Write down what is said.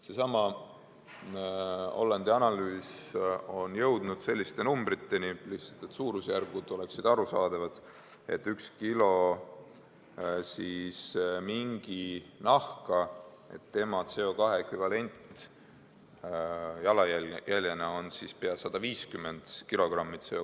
Seesama Hollandi analüüs on jõudnud selliste numbriteni – lihtsalt, et suurusjärgud oleksid arusaadavad –, et kui võtta üks kilo minginahka, siis tema CO2 ekvivalent jalajäljena on pea 150 kilogrammi.